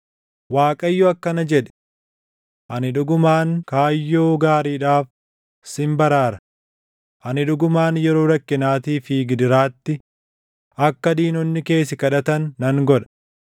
Waaqayyo akkana jedhe; “Ani dhugumaan kaayyoo gaariidhaaf sin baraara; Ani dhugumaan yeroo rakkinaatii fi gidiraatti, akka diinonni kee si kadhatan nan godha.